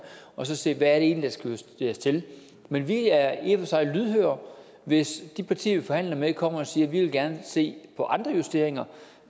og så se hvad det egentlig skal justeres til men vi er i og for sig lydhøre hvis de partier vi forhandler med kommer og siger at de gerne vil se på andre justeringer